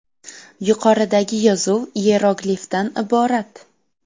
Yuqoridagi yozuv iyeroglifdan iborat.